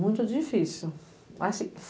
Muito difícil. Mas